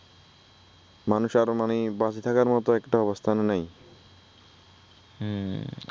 মানুষ আরো মানে বাচি থাকার মতো একটা অবস্থানে নাই হুম